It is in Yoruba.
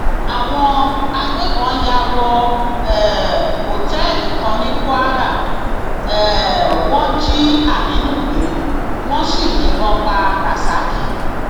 àwọn agbébọn yà wọ um òtẹẹlì kan ní kwara um wọn jí aminu gbé wọn sì yìnbọn pa rasak